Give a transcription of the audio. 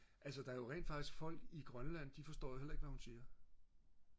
altså der er jo rent faktisk folk i Grønland de forstår jo heller ikke hvad hun siger